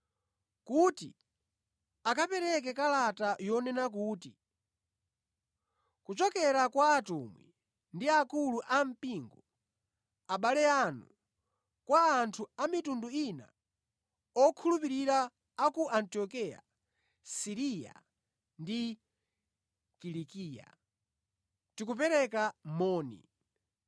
kuti akapereke kalata yonena kuti, Kuchokera kwa atumwi ndi akulu ampingo, abale anu, Kwa anthu a mitundu ina okhulupirira a ku Antiokeya, Siriya ndi Kilikiya: Tikupereka moni.